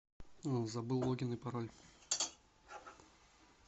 забыл логин и пароль